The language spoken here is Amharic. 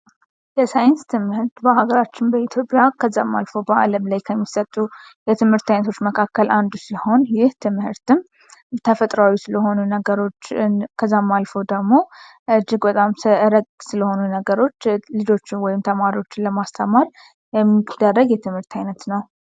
የሳይንስ ትምህርት በአገራችን በኢትዮጵያ ከዛም አልፎ በአለም ላይ ከሚሰጡ የትምህርት አይነቶች መካከል አንዱ ሲሆን ይህ ትምህርትም ተፈጥሮ ነገሮች ከዛም አልፎ እጅግ በጣም ብዙ ነገሮችን ልጆችን ለማስተማር የሚደረግ የትምህርት ዓይነት ነው።